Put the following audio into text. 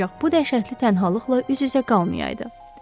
Ancaq bu dəhşətli tənhalıqla üz-üzə qalmayaydı.